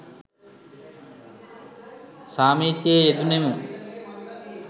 සාමිචියේ යෙදුනෙමු.